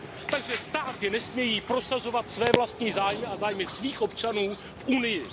Takže státy nesmějí prosazovat své vlastní zájmy a zájmy svých občanů v Unii.